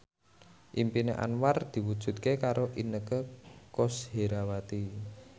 impine Anwar diwujudke karo Inneke Koesherawati